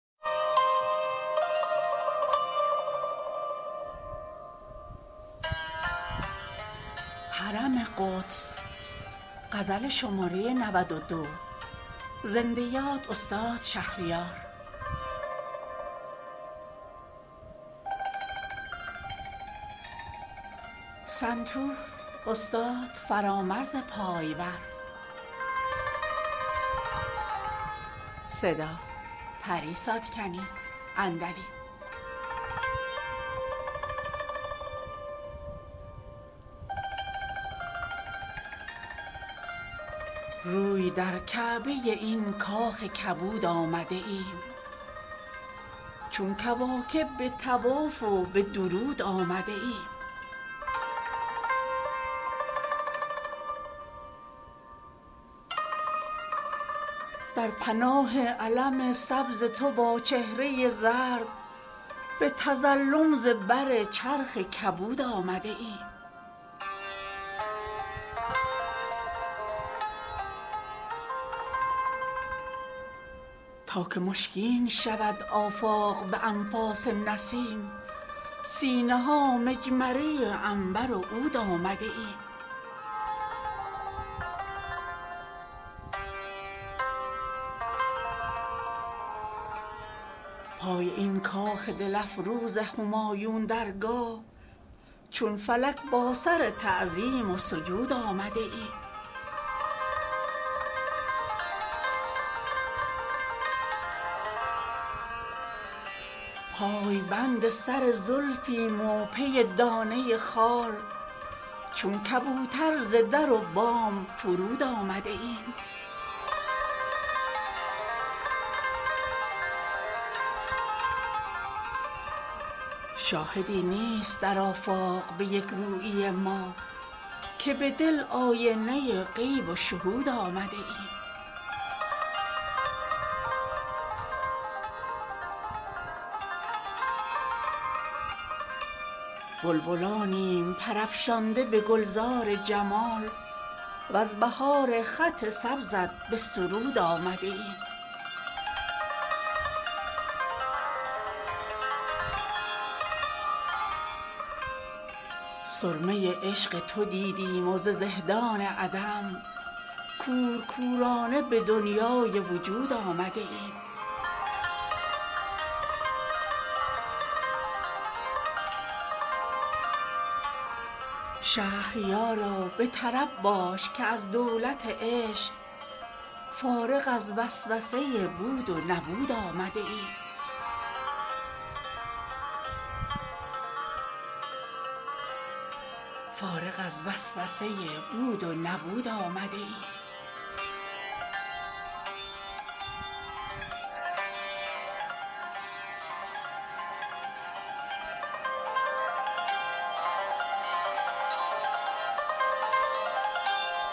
روی در کعبه این کاخ کبود آمده ایم چون کواکب به طواف و به درود آمده ایم در پناه علم سبز تو با چهره زرد به تظلم ز بر چرخ کبود آمده ایم تا که مشکین شود آفاق به انفاس نسیم سینه ها مجمره عنبر و عود آمده ایم پای این کاخ دل افروز همایون درگاه چون فلک با سر تعظیم و سجود آمده ایم پای بند سر زلفیم و پی دانه خال چون کبوتر ز در و بام فرود آمده ایم شاهدی نیست در آفاق به یک رویی ما که به دل آینه غیب و شهود آمده ایم بلبلانیم پر افشانده به گلزار جمال وز بهار خط سبزت به سرود آمده ایم سرمه عشق تو دیدیم و ز زهدان عدم کورکورانه به دنیای وجود آمده ایم شهریارا به طرب باش که از دولت عشق فارغ از وسوسه بود و نبود آمده ایم